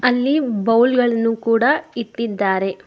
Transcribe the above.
ಅಲ್ಲಿ ಬೌಲ್ ಗಳನ್ನು ಕೂಡ ಇಟ್ಟಿದ್ದಾರೆ.